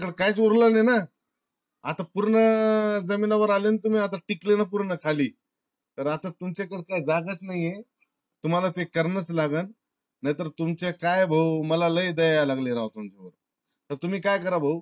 काहीच उरल नाय ना आता पूर्ण जमिनी वर आले ना तुम्ही? आता टेकले ना पूर्ण खाली? आता तुमच्या करता जागेच नाय ये. तुम्हाला ते करणाच लागण. नाय तर तुमचे काय भाऊ मला लई द्या याय लागलीये राव तुमची. आता तुम्ही काय अकरा भाऊ